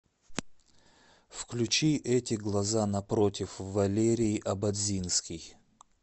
включи эти глаза напротив валерий ободзинский